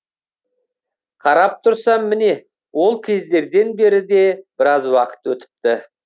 қарап тұрсам міне ол кездерден бері де біраз уақыт өтіпті